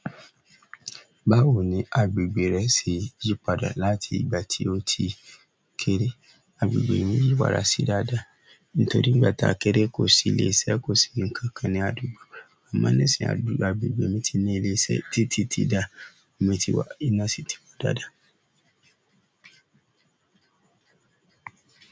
Báwo ni agbègbè rẹ ṣe yí padà láti ìgbà tí o ti kéré? Agbègbè mi yí padà sí dáadáa nítorí nígbà táa kéré kò sí ilé iṣẹ́, kò sí ǹkan kan ní àdúgbò. Àmọ́ ní ìsìn, agbègbè ti ni ilé iṣẹ́ titi ti dáa, omi ti wà, iná náà si ti wà.